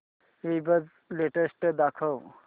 ईबझ लेटेस्ट दाखव